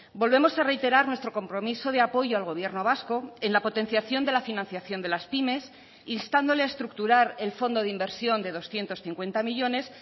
volvemos a reiterar nuestro compromiso de apoyo al gobierno vasco en la potenciación de la financiación de las pymes instándole a estructurar el fondo de inversión de doscientos cincuenta millónes